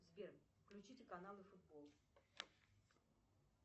сбер включите каналы футбол